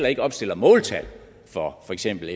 ikke opstiller måltal for for eksempel